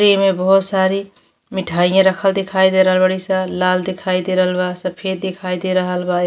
एमे बहोत सारी मिठाइयां रखल दिखाई दे रहल बाड़ी स। लाल दिखाई दे रहल बा सफ़ेद दिखाई दे रहल बा। ए --